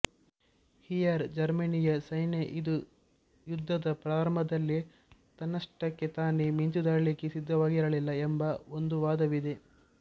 here ಜರ್ಮನಿಯ ಸೈನ್ಯ ಇದು ಯುದ್ಧದ ಪ್ರಾರಂಭದಲ್ಲಿ ತನ್ನಷ್ಟಕ್ಕೇ ತಾನೇ ಮಿಂಚುದಾಳಿಗೆ ಸಿದ್ಧವಾಗಿರಲಿಲ್ಲ ಎಂಬ ಒಂದು ವಾದವಿದೆ